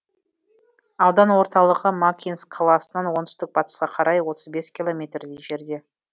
аудан орталығы макинск қаласынан оңтүстік батысқа қарай отыз бес километрдей жерде